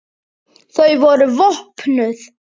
Þau voru vopnuð.